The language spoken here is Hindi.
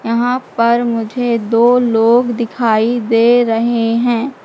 यहां पर मुझे दो लोग दिखाई दे रहे हैं।